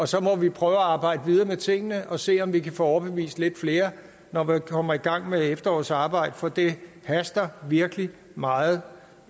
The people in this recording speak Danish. så må vi prøve at arbejde videre med tingene og se om vi kan få overbevist lidt flere når vi kommer i gang med efterårets arbejde for det haster virkelig meget